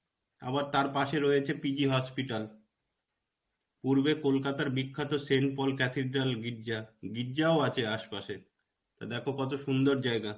আবার তার পাশে রয়েছে PG hospital. পূর্বে কলকাতার বিখ্যাত Saint Paul Cathedral গির্জা. গির্জাও আছে আসেপাশে. তা, দেখো কতো সুন্দর জায়গা.